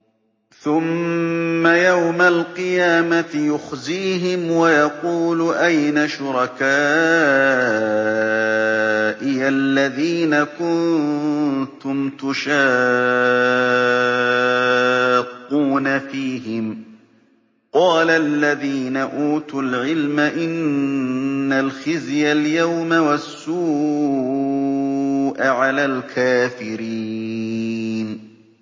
ثُمَّ يَوْمَ الْقِيَامَةِ يُخْزِيهِمْ وَيَقُولُ أَيْنَ شُرَكَائِيَ الَّذِينَ كُنتُمْ تُشَاقُّونَ فِيهِمْ ۚ قَالَ الَّذِينَ أُوتُوا الْعِلْمَ إِنَّ الْخِزْيَ الْيَوْمَ وَالسُّوءَ عَلَى الْكَافِرِينَ